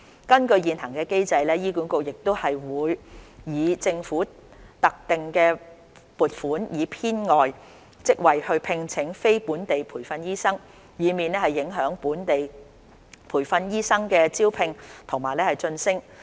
根據現行機制，醫管局會以政府的特定撥款以編外職位聘請非本地培訓醫生，以免影響本地培訓醫生的招聘及晉升。